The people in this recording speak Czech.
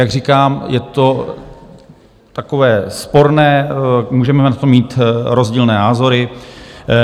Jak říkám, je to takové sporné, můžeme na to mít rozdílné názory.